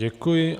Děkuji.